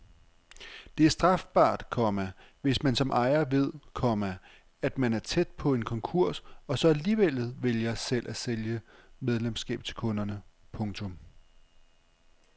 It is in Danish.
Det er strafbart, komma hvis man som ejer ved, komma at man er tæt på en konkurs og så alligevel vælger selv at sælge medlemskab til kunderne. punktum